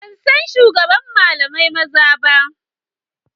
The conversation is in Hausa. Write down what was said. Ban sani ba shugaban daliban maza ba.